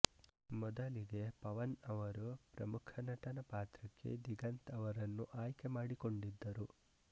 ಮೊದಲಿಗೆ ಪವನ್ ಅವರು ಪ್ರಮುಖ ನಟನ ಪಾತ್ರಕ್ಕೆ ದಿಗಂತ್ ಅವರನ್ನು ಆಯ್ಕೆ ಮಾಡಿಕೊಂಡಿದ್ದರು